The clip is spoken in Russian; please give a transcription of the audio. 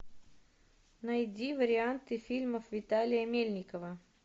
найди варианты фильмов виталия мельникова